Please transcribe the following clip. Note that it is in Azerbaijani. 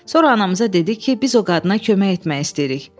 Sonra anamıza dedi ki, biz o qadına kömək etmək istəyirik.